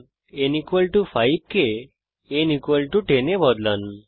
n 5 কে n 10 এ বদলান